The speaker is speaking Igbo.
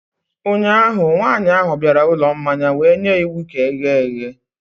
ụnyahụ, nwanyị ahụ bịara ụlọ mmanya wee nye iwu ka eghe eghe